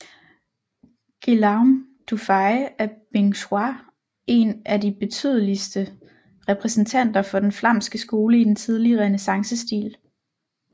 Guillaume Dufay er Binchois en af de betydeligste repræsentanter for den flamske skole i den tidlige renæssancestil